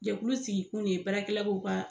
Jakulu sigi kun ye baara kɛla ko ka